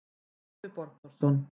Yngvi Borgþórsson